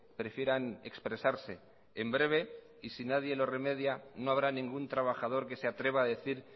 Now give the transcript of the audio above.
prefieran expresarse en breve y si nadie lo remedia no habrá ningún trabajador que se atreva a decir